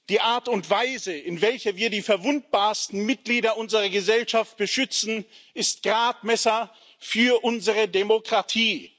Die Art und Weise, in welcher wir die verwundbarsten Mitglieder unserer Gesellschaft beschützen, ist Gradmesser für unsere Demokratie.